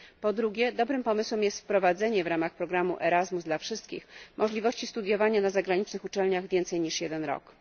Po drugie, dobrym pomysłem jest wprowadzenie w ramach programu ERASMUS dla wszystkich możliwości studiowania na zagranicznych uczelniach więcej niż jeden rok.